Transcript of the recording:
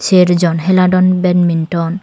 cher jon hila don banminton .